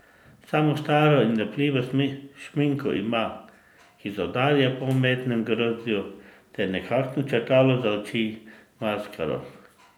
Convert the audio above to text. Samo staro in lepljivo šminko ima, ki zaudarja po umetnem grozdju, ter nekakšno črtalo za oči in maskaro.